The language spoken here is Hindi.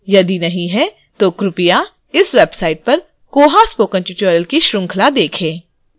यदि नहीं तो कृपया इस website पर koha spoken tutorial की श्रृंखला देखें